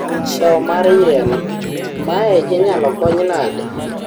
tho mar yien, mae inyalo kony nade